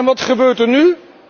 Wat gebeurt er nu?